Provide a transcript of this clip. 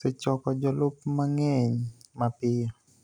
osechoko jolup mang�eny mapiyo,